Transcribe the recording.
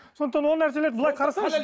сондықтан ол нәрселерді былай қарасаңызшы